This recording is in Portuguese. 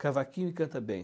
Cavaquinho e canta bem.